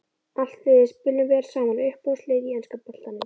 Allt liðið spilum vel saman Uppáhalds lið í enska boltanum?